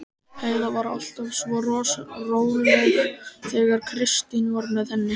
Heiða var alltaf svo róleg þegar Kristín var með henni.